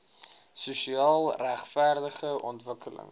sosiaal regverdige ontwikkelings